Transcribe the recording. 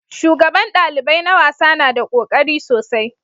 Shugaban dalibai na wasa na da kokari sosai